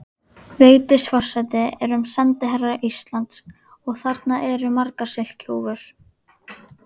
Vigdís forseti erum sendiherrar Íslands og þarna eru margar silkihúfur.